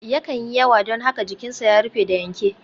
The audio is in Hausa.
Yakan yi yawa don haka jikinsa ya rufe da yanke.